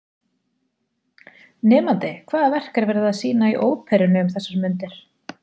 Nemandi: Hvaða verk er verið að sýna í Óperunni um þessar mundir?